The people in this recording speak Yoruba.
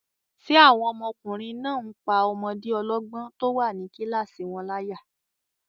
Ṣé àwọn ọmọkùnrin náà n pá ọmọdé ọlọ́gbọ́n tó wà ní kílásì wọn láyà?